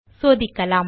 சோதிக்கலாம்